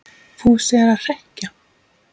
Fúsi er að hrekkja